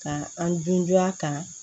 Ka an dunya kan